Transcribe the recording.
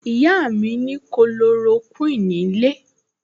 Ìyá mi ní Kulorokíìní nílé